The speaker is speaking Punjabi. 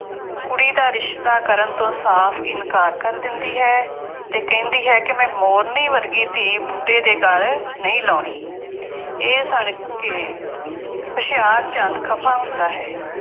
ਕੁੜੀ ਦਾ ਰਿਸ਼ਤਾ ਕਰਨ ਤੋਂ ਸਾਫ ਇਨਕਾਰ ਕਰ ਦਿੰਦੀ ਹੈ ਅਤੇ ਕਹਿੰਦੀ ਹੈ ਕਿ ਮੈਂ ਮੋਰਨੀ ਵਰਗੀ ਧੀ ਬੁੱਢੇ ਦੇ ਗੱਲ ਨਹੀਂ ਲਾਉਣੀ। ਇਹ ਸੁਣ ਕੇ ਹੁਸ਼ਿਆਰਚੰਦ ਖਫਾ ਹੁੰਦਾ ਹੇ।